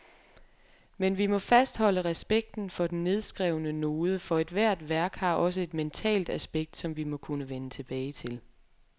Men vi må fastholde respekten for den nedskrevne node, for ethvert værk har også et mentalt aspekt, som vi må kunne vende tilbage til.